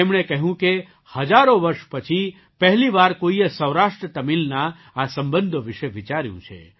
તેમણે કહ્યું કે હજારો વર્ષ પછી પહેલી વાર કોઈએ સૌરાષ્ટ્રતમિલના આ સંબંધો વિશે વિચાર્યું છે